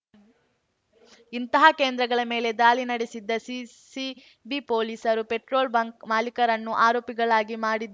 ಇಂತಹ ಕೇಂದ್ರಗಳ ಮೇಲೆ ದಾಳಿ ನಡೆಸಿದ್ದ ಸಿಸಿಬಿ ಪೊಲೀಸರು ಪೆಟ್ರೋಲ್‌ ಬಂಕ್‌ ಮಾಲಿಕರನ್ನೂ ಆರೋಪಿಗಳಾಗಿ ಮಾಡಿದ್ದ